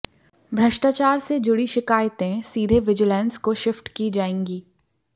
भ्रष्टाचार से जुड़ी शिकायतें सीधे विजिलेंस को शिफ्ट की जाएगी